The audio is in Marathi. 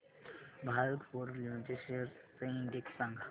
भारत फोर्ज लिमिटेड शेअर्स चा इंडेक्स सांगा